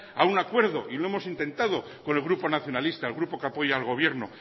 a un acuerdo y lo hemos intentado con el grupo nacionalista el grupo que apoya al gobierno